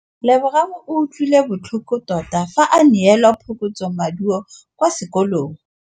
Lebogang o utlwile botlhoko tota fa a neelwa phokotsômaduô kwa sekolong.